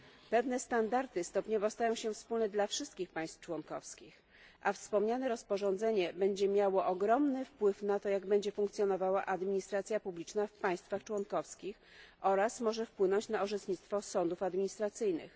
Pewne standardy stają się stopniowo wspólne dla wszystkich państw członkowskich, a wspomniane rozporządzenie będzie miało ogromny wpływ na to, jak będzie funkcjonowała administracja publiczna w państwach członkowskich oraz może wpłynąć na orzecznictwo sądów administracyjnych.